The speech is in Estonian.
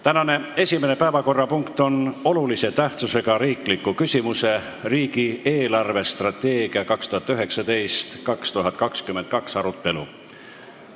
Tänane esimene päevakorrapunkt on olulise tähtsusega riikliku küsimuse "Riigi eelarvestrateegia 2019–2022" arutelu.